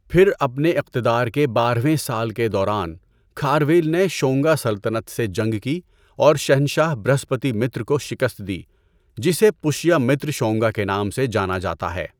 پھر اپنے اقتدار کے بارہویں سال کے دوران، کھارویل نے شونگا سلطنت سے جنگ کی اور شہنشاہ برھسپتی متر کو شکست دی، جسے پشیامتر شونگا کے نام سے جانا جاتا ہے۔